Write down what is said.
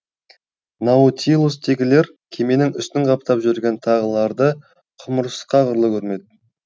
наутилустегілер кеменің үстін қаптап жүрген тағыларды құмырсқа құрлы көрмеді